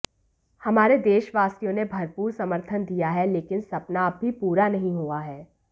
हमारे देशवासियों ने भरपूर समर्थन दिया है लेकिन सपना अब भी पूरा नहीं हुआ है